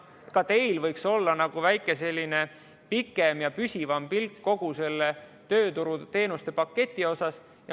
Ka teil võiks olla nagu väihe pikem ja püsivam pilk kogu sellele tööturuteenuste paketile.